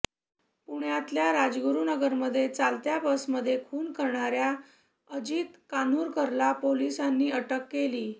पुण्यातल्या राजगुरूनगरमध्ये चालत्या बसमध्ये खून करणाऱ्या अजित कान्हूरकरला पोलिसांनी अटक केलीय